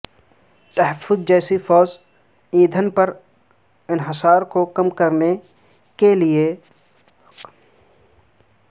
تحفظ جیسی فوز ایندھن پر انحصار کو کم کرنے کی کلیدی حکمت عملی ہے